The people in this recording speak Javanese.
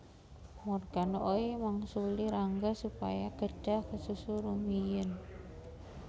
Morgan Oey mangsuli Rangga supaya kedhah kesusu rumiyin